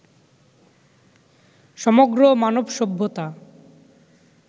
সমগ্র মানব সভ্যতা